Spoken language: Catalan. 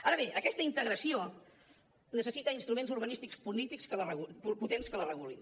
ara bé aquesta integració necessita instruments urbanístics polítics potents que la regulin